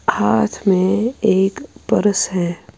.ہاتھ مے ایک پرس ہیں